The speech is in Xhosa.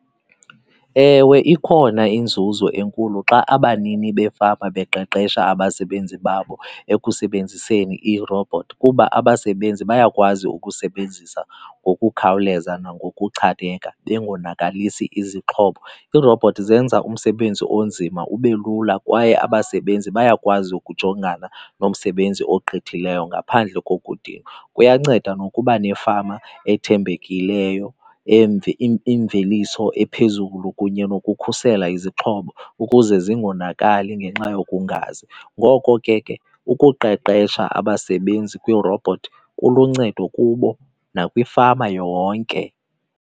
Ewe, ikhona inzuzo enkulu xa abanini beefama beqeqesha abasebenzi babo ekusebenziseni iirobhothi kuba abasebenzi bayakwazi ukusebenzisa ngokukhawuleza nangokuchaneka bengonakalisi izixhobo. Iirobhothi zenza umsebenzi onzima ube lula kwaye abasebenzi bayakwazi ukujongana nomsebenzi ogqithileyo ngaphandle kokudinwa. Kuyanceda nokuba nefama ethembekileyo, imveliso ephezulu kunye nokukhusela izixhobo ukuze zingonakali ngenxa yokungazi. Ngoko ke ke ukuqeqesha abasebenzi kwiirobhothi kuluncedo kubo nakwifama yonke.